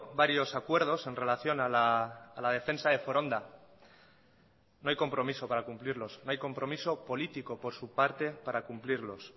varios acuerdos en relación a la defensa de foronda no hay compromiso para cumplirlos no hay compromiso político por su parte para cumplirlos